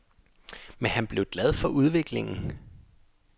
Men han blev glad for udviklingen.